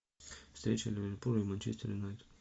встреча ливерпуля и манчестер юнайтед